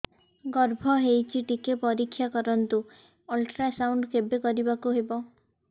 ଗର୍ଭ ହେଇଚି ଟିକେ ପରିକ୍ଷା କରନ୍ତୁ ଅଲଟ୍ରାସାଉଣ୍ଡ କେବେ କରିବାକୁ ହବ